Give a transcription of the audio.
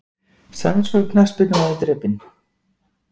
Sænskur knattspyrnumaður drepinn